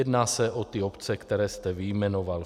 Jedná se o ty obce, které jste vyjmenoval.